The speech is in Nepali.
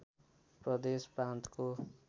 प्रदेश प्रान्तको